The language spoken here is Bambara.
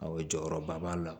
Awɔ jɔyɔrɔba b'a la